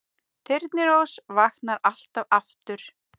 Þyrnirós vaknar alltaf aftur